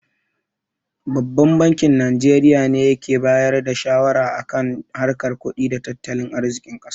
Babban bankin Najeriya ne yake bayar da shawara a kan harkar kudi da tattalin arzikin ƙasar.